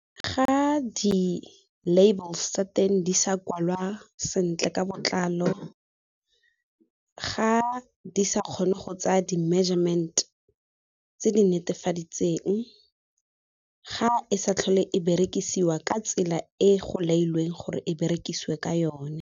Ga di-labels tsa teng di sa kwalwa sentle ka botlalo, ga di sa kgone go tsaa di-measurement tse di netefaditseng, ga e sa tlhole e berekisiwa ka tsela e go laiweng gore e berekisiwe ka yone.